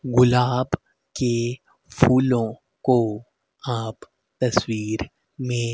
गुलाब के फूलों को आप तस्वीर में--